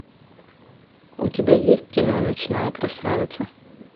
у тебя есть кино ночная красавица